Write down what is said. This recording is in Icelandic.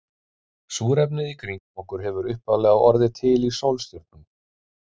Súrefnið í kringum okkur hefur upphaflega orðið til í sólstjörnum.